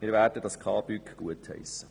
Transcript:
Wir werden das KBüG gutheissen.